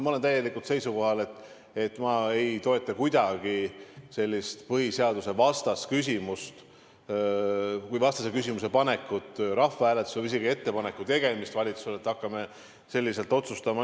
Ma olen täielikult seisukohal, et ma ei toeta kuidagi sellist põhiseadusvastast küsimuse panekut rahvahääletusele, isegi ettepaneku tegemist valitsusele, et hakkame selliselt otsustama.